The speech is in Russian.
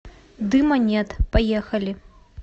дыма нет поехали